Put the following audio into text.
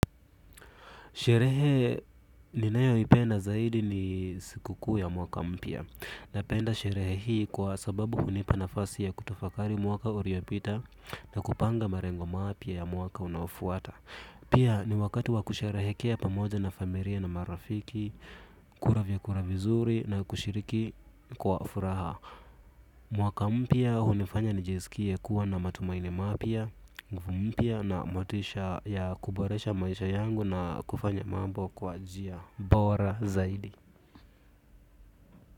Sherehe ninayoipenda zaidi ni siku kuu ya mwaka mpya. Napenda sherehe hii kwa sababu hunipa nafasi ya kutafakari mwaka uliopita na kupanga malengo mapya ya mwaka unaofuata. Pia ni wakati wa kusherehekea pamoja na familia na marafiki, kula vyakula vizuri na kushiriki kwa furaha. Mwaka mpya umefanya nijisikie kuwa na matumaini mapya mpya na motisha ya kuboresha maisha yangu na kufanya mambo kwa njia bora zaidi.